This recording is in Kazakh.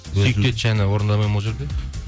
сүйікті етші әні орындамайды ма ол жерде